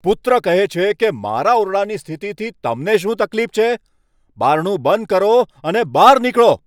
પુત્ર કહે છે કે, મારા ઓરડાની સ્થિતિથી તમને શું તકલીફ છે? બારણું બંધ કરો અને બહાર નીકળો.